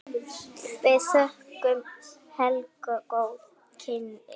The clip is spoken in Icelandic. Við þökkum Helgu góð kynni.